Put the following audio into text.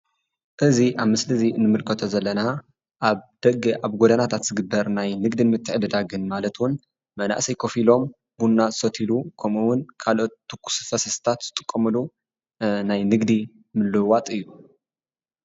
እዚ ኣብ ምስሊ እንምልከቶ ዘለና ኣብ ደገ ኣብ ጎደናታት ዝግበር ናይ ንግድን ምትዕድዳግን ማለት እዉን መናኣሰይ ኮፍ ኢሎም ቡና ዝሰትዩሉ ከምኡ ዉን ካሎኦት ትኩስታት ፈሳሲታት ዝጥቀምሉ ናይ ንግዲ ምልዉዋጥ እዩ።